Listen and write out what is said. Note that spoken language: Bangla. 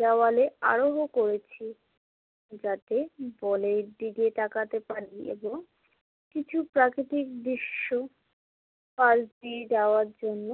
দেওয়ালে আরোহন করেছি। যাতে বলের দিকে তাকাতে পারি এবং কিছু প্রাকৃতিক দৃশ্য পাশ দিয়ে যাওয়ার জন্য